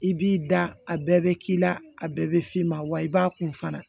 I b'i da a bɛɛ bɛ k'i la a bɛɛ bɛ f'i ma wa i b'a kun fana